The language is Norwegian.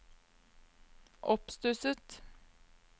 oppstusset